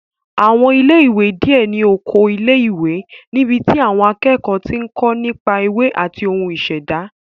Àwọn ilé ìwé díẹ̀ ní oko ilé ìwé níbi tí àwọn akẹ́kọ̀ọ́ ti ń kó nípa ewé àti ohun ìṣẹ̀dá